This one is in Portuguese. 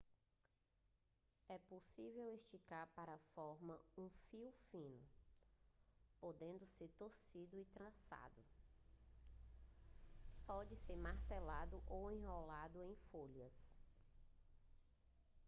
é possível esticar para formar um fio fino podendo ser torcido e trançado pode ser martelado ou enrolado em folhas